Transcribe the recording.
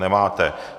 Nemáte.